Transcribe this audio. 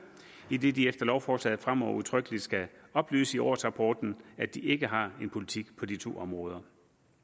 idet de efter lovforslaget fremover udtrykkeligt skal oplyse i årsrapporten at de ikke har en politik på de to områder